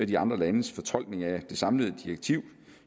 de andre landes fortolkning af det samlede direktiv